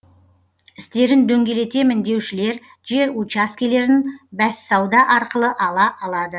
істерін дөңгелетемін деушілер жер учаскелерін бәссауда арқылы ала алады